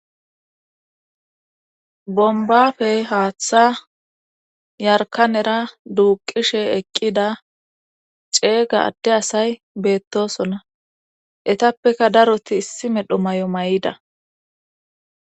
Bombafey haaththa yarkan era duuqishe eqqida ceeyga adde asay beettosona etappeka daroti issi medho may7o may7ida